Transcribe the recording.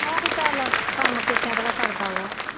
ਆਹੋ ਚੱਲ ਕੰਮ ਕੀਤਿਆਂ ਕਿਹੜਾ ਸਰਦਾ ਵਾ।